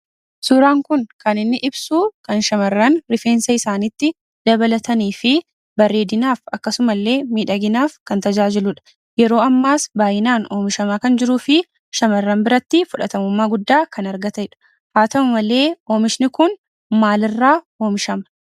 Suuraan kun kan inni ibsuu kan shamarran rifeensa isaaniitti dabalatanii fi bareedinaaf akkasumallee miidhaginaaf kan tajaajiludha. Yeroo ammaas baay'inaan oomishamaa kan jiruu fi shamarran biratti fudhatamummaa guddaa kan argatedha. Haa ta'u malee, oomishni kun maalirraa oomishama?